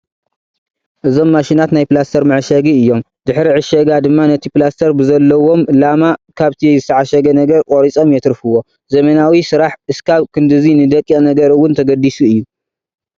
እዞም ማሽናት ናይ ፕላስተር መዓሸጊ እዮም፡፡ ድሕሪ ዕሸጋ ድማ ነቲ ፕላስተር ብዘለዎም ላማ ካብቲ ዝተዓሸገ ነገር ቆሪፆም የትርፍዎ፡፡ ዘመናዊ ስራሕ እስካብ ክንድዚ ንደቂቕ ነገር እውን ተገዲሱ እዩ፡፡